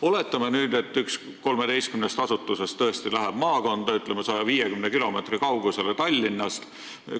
Oletame, et üks 13 asutusest läheb tõesti maakonda, 150 kilomeetri kaugusele Tallinnast.